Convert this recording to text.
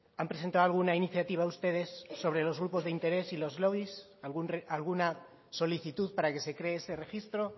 han presentado alguna iniciativa ustedes sobre los grupos de interés y los lobbies alguna solicitud para que se cree ese registro